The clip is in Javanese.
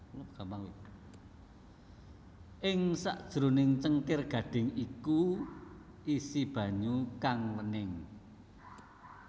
Ing sakjroning cengkir gadhing iku isi banyu kang wening